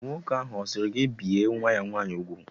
Nwoke ahụ a sịrị gị ka ị bìe nwa-ya nwaanyị úgwù?